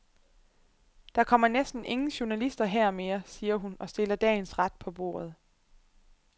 Der kommer næsten ingen journalister her mere, siger hun og stiller dagens ret på bordet.